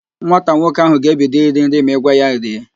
Nwata nwoke ahụ ga-ebido iri nri ma i gwa ya rie